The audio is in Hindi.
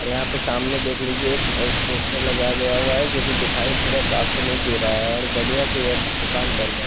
और यहां पे सामने देख लीजिये एक वो पोस्टर लगाया गया हुआ है जो की दिखाई पूरा साफ से नहीं दे रहा है और बढ़िया से दुकान बन रहा है।